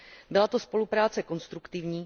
Byla to spolupráce konstruktivní.